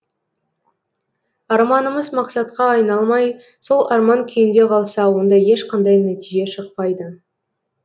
арманымыз мақсатқа айналмай сол арман күйінде қалса онда ешқандай нәтиже шықпайды